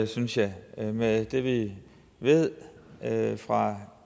synes jeg med det vi ved fra